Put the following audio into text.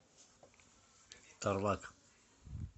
тарлак